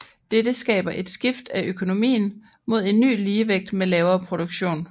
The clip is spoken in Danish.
Dette skaber et skift af økonomien mod en ny ligevægt med lavere produktion